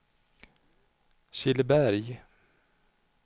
Killeberg